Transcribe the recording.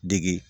Degi